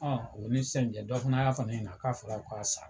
Ɔ oni sisan cɛ dɔ fana y'a fɔ ne yana k'a fɔra ko a sara.